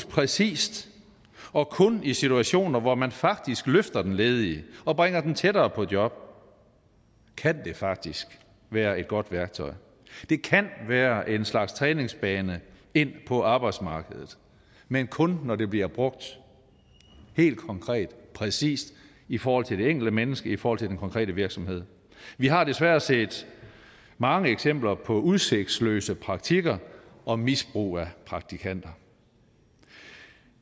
præcist og kun i situationer hvor man faktisk løfter de ledige og bringer dem tættere på job kan det faktisk være et godt værktøj det kan være en slags træningsbane ind på arbejdsmarkedet men kun når det bliver brugt helt konkret og præcist i forhold til det enkelte menneske og i forhold til den konkrete virksomhed vi har desværre set mange eksempler på udsigtsløse praktikker og misbrug af praktikanter